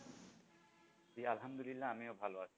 জি আলহামদুলিল্লাহ আমিও ভালো আছি।